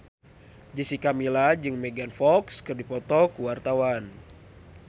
Jessica Milla jeung Megan Fox keur dipoto ku wartawan